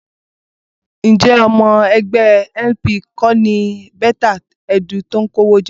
Ǹjẹ́ ọmọ ẹgbẹ́ LP kọ́ ni Betta Edu tó kówó jẹ?